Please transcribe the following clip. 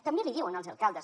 també li diuen els alcaldes